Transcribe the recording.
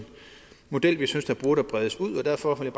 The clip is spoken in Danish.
model som vi synes burde bredes ud derfor vil